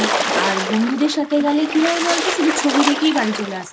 আর বন্ধুদের সাথে গেলে কী হয় বলতো শুধু ছবি দেখেই বাড়ি চলে আসি।